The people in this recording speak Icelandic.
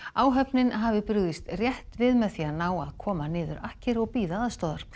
áhöfnin hafi brugðist rétt við með því að ná að koma niður akkeri og bíða aðstoðar